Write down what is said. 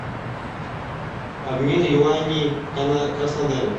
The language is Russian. обмен юаней в краснодаре